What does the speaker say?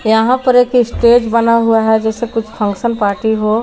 यहां पर एक स्टेज बना हुआ है जैसे कुछ फंक्शन पार्टी हो।